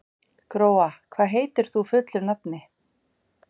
Gróa, hvað heitir þú fullu nafni?